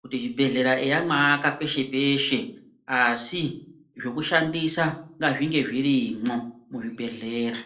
kuti zvibhedhlera eya mwaaka peshe peshe asi zvekushandisa ngazvinge zvirimwo muzvibhedhlera.